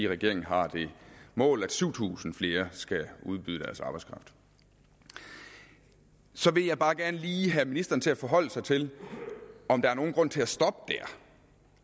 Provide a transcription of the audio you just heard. regeringen har det mål at syv tusind flere skal udbyde deres arbejdskraft så vil jeg bare gerne lige have ministeren til at forholde sig til om der er nogen grund til at stoppe